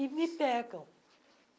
E me pegam.